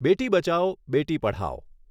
Beti Bachao Beti Padhao